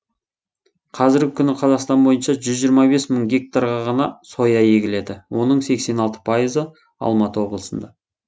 қазіргі күні қазақстан бойынша жүз жиырма бес мың гектарға ғана соя егіледі оның сексен алты пайызы алматы облысында